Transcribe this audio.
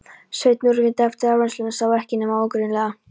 Sveinn, úrvinda eftir áreynsluna, sá ekki nema ógreinilega.